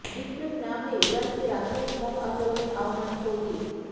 বিপ্লবী না হয়ে ইরানকে রাষ্ট্রের মত আচরণের আহ্বান সৌদির